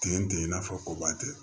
Ten tɛ i n'a fɔ ko ba tɛ